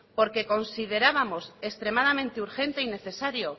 porque considerábamos extremadamente urgente y necesario